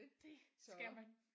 Det skal man